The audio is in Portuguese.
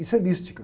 Isso é mística.